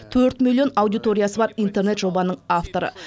төрт миллион аудиториясы бар интернет жобаның авторы